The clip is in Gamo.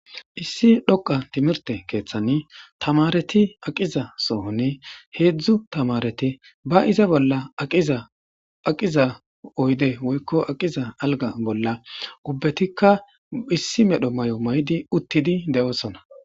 issi dhoqa timirte keeththani tamareti aqiza sohoni heedzdzu tamareti ba iza bolla aaqiza oyde woykko aqiza alga bolla ubbetikka issi medho may7o may7di uttidi de7oosona